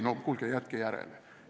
No kuulge, jätke järele!